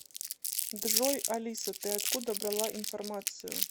джой алиса ты откуда брала информацию